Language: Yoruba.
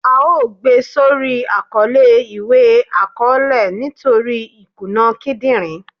À o gbé sórí Àkọlé iwe akọọlẹ nítorí ìkúná kídínrín